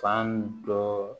Fan dɔ